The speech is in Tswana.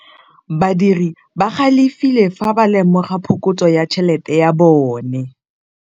Badiri ba galefile fa ba lemoga phokotsô ya tšhelête ya bone.